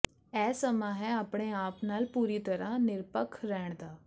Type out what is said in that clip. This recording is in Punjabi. ਇਹ ਸਮਾਂ ਹੈ ਆਪਣੇ ਆਪ ਨਾਲ ਪੂਰੀ ਤਰ੍ਹਾਂ ਨਿਰਪੱਖ ਰਹਿਣ ਦਾ